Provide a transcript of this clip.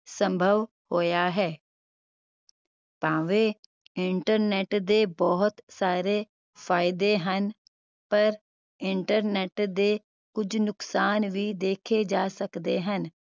ਸੰਭਵ ਹੋਇਆ ਹੈ ਭਾਵੇਂ internet ਦੇ ਬਹੁਤ ਸਾਰੇ ਫਾਇਦੇ ਹਨ ਪਰ internet ਦੇ ਕੁਝ ਨੁਕਸਾਨ ਵੀ ਦੇਖੇ ਜਾ ਸਕਦੇ ਹਨ